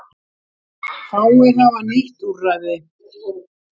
Fáir hafa nýtt úrræði